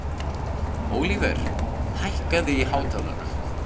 Ólíver, hækkaðu í hátalaranum.